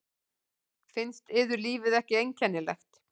Finnst yður lífið ekki einkennilegt?